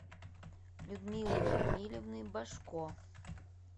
людмилы рамилевны божко